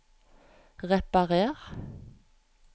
reparer